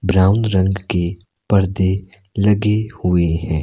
Brown रंग के परदे लगे हुए हैं।